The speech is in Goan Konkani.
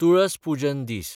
तुळस पुजन दीस